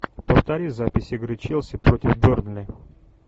повтори запись игры челси против бернли